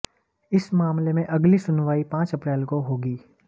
इस मामले में अगली सुनवाई पांच अप्रैल को होगी